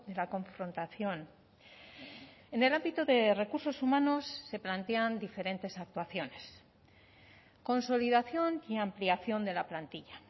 la confrontación en el ámbito de recursos humanos se plantean diferentes actuaciones consolidación y ampliación de la plantilla